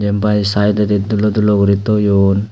bai saededi dulo dulo guri toyon.